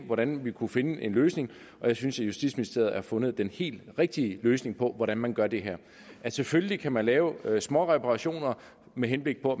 hvordan vi kunne finde en løsning og jeg synes justitsministeriet har fundet den helt rigtige løsning på hvordan man gør det her selvfølgelig kan man lave småreparationer med henblik på